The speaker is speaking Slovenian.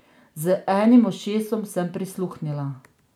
Z enim ušesom sem prisluhnila.